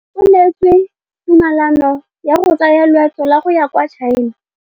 O neetswe tumalanô ya go tsaya loetô la go ya kwa China.